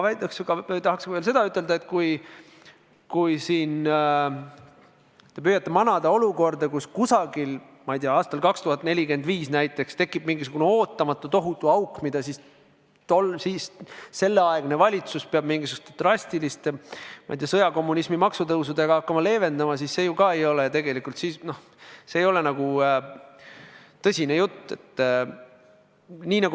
Aga ma tahaks veel seda öelda, et kui siin te püüate silme ette manada olukorda, kus, ma ei tea, aastal 2045 näiteks tekib mingisugune ootamatu tohutu auk, mida valitsus peab mingisuguste drastiliste sõjakommunismi maksutõusudega hakkama leevendama, siis see ju ka ei ole tegelikult tõsine jutt.